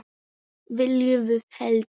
Viljum við hefnd?